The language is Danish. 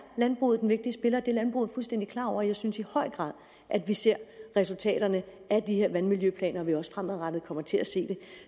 landbruget en vigtig spiller det landbruget fuldstændig klar over og jeg synes i høj grad at vi ser resultaterne af de her vandmiljøplaner og at vi også fremadrettet kommer til at se det